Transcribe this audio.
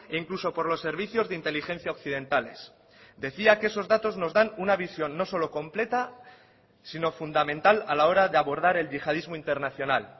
incluso por los servicios de inteligencia occidentales decía que esos datos nos dan una visión no solo completa sino fundamental a la hora de abordar el yihadismo internacional